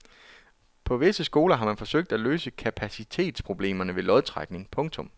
På visse skoler har man forsøgt at løse kapacitetsproblemerne ved lodtrækning. punktum